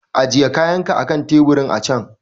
Ajiye kayanka akan teburin a can!